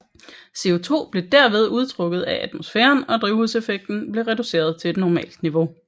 CO2 blev derved udtrukket af atmosfæren og drivhuseffekten blev reduceret til et normalt niveau